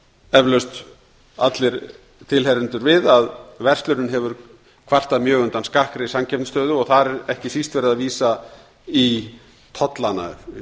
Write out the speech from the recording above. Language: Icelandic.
eflaust allir tilheyrendur við verslunin hefur kvartað mjög undan skakkri samkeppnisstöðu og þar er ekki síst verið að vísa í tollana